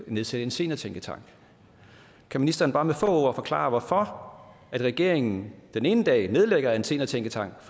nedsætte en seniortænketank kan ministeren bare med få ord forklare hvorfor regeringen den ene dag nedlægger en seniortænketank